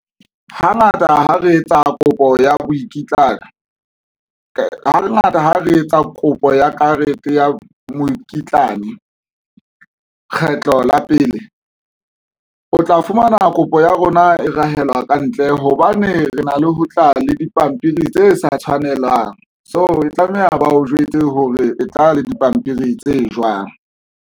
Hangata ha re etsa kopo ya mokitlana, hangata ha re etsa kopo ya karete ya mokitlane kgetlo la pele o tla fumana kopo ya rona e rahela ka ntle hobane re na le ho tla le dipampiri tse sa tshwanelang, so tlameha ba o jwetse hore e tla le dipampiri tse jwang.